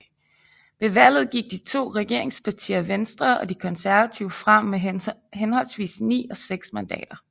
Ved valget gik de to regeringspartier Venstre og De Konservative frem med henholdsvis ni og seks mandater